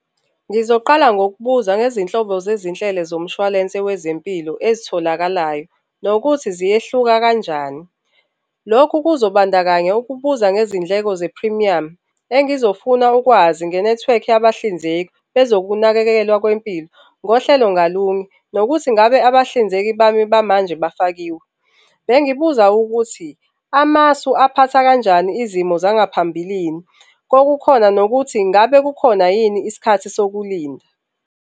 Ngizoqala ngokubuza ngezinhlobo zezinhlelo zomshwalense wezempilo ezitholakalayo, nokuthi ziyehluka kanjani. Lokhu kuzo bandakanya ukubuza ngezindleko zephrimiyamu engizofuna ukwazi ngenethiwekhi yabahlinzeki bezokunakekelwa kwempilo ngohlelo ngalunye, nokuthi ngabe abahlinzeki bami bamanje bafakiwe. Bengibuza ukuthi amasu aphatha kanjani izimo zangaphambilini. Kwakukhona nokuthi ingabe kukhona yini isikhathi sokulinda.